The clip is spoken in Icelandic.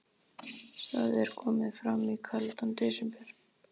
Það er komið fram í kaldan desember.